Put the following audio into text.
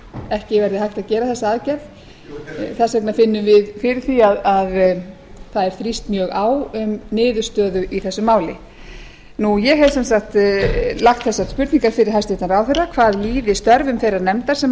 ekki verði hægt að gera þessa aðgerð þess vegna finnum við fyrir því að það verði þrýst mjög á um niðurstöðu i þessu máli ég hef sem sagt lagt þessar spurningar fyrir hæstvirtan ráðherra hvað líði störfum þeirrar nefndar sem hann